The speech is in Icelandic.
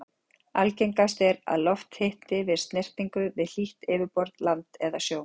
Algengast er að loft hitni við snertingu við hlýtt yfirborð, land eða sjó.